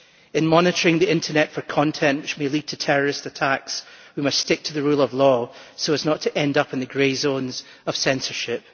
In monitoring the internet for content which may lead to terrorist attacks, we must stick to the rule of law so as not to end up in the grey zones of censorship.